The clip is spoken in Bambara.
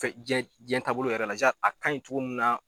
Fɛn jɛn jɛn taabolo yɛrɛ la a kan ɲi cogo min na.